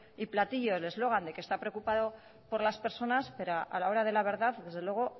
y platillo el eslogan de que está preocupado por las personas pero a la hora de la verdad desde luego